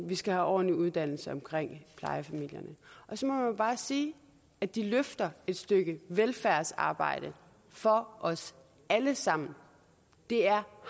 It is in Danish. vi skal have ordentlig uddannelse omkring plejefamilierne og så må jeg bare sige at de løfter et stykke velfærdsarbejde for os alle sammen det er